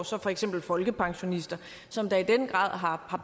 så for eksempel folkepensionister som da i den grad har